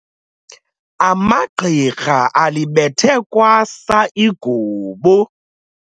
Amagqirha alibethe kwasa igubu.